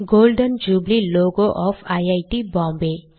golden jubilee logo of IIT Bombay